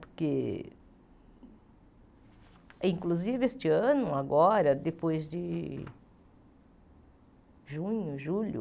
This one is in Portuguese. Porque, inclusive, este ano, agora, depois de junho, julho,